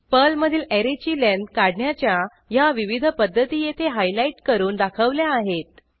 पर्लमधील ऍरेची लेंथ काढण्याच्या ह्या विविध पध्दती येथे हायलाईट करून दाखवल्या आहेत